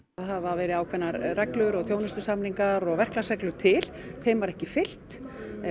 hafa verið ákveðnar reglur og þjónustusamningar og verklagsreglur til þeim var ekki fylgt